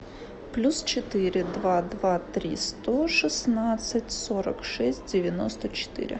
плюс четыре два два три сто шестнадцать сорок шесть девяносто четыре